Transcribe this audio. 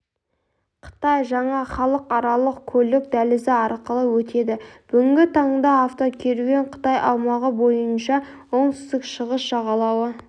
қытай жаңа халықаралық көлік дәлізі арқылы өтеді бүгінгі таңда автокеруен қытай аумағы бойынша оңтүстік-шығыс жағалауы